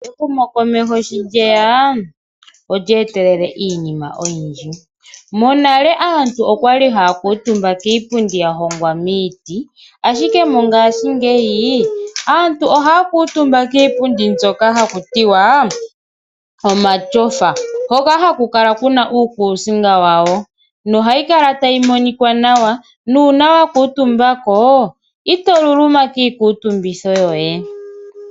Ehumo komeho sho lyeya olyetelele iinima oyindji , monale aantu okwali hakatumba kiipundi yahongwa miiti ashike mongashi ngeyi aantu ohakutumba kiipundi mbyoka hakutiwa omatyofa hoka hakukala kuna uukusinga wawo nohayi kala tayimonika nawa nuna wakutumbako itoluluma kikutumbitho yoye.